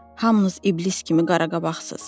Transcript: Hamınız iblis kimi qaraqabaqsız.